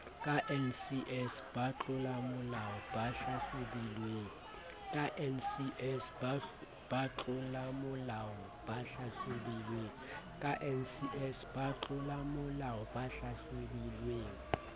ka ncs batlolamolao ba hlahlobilweng